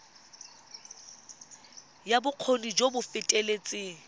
ya bokgoni jo bo feteletseng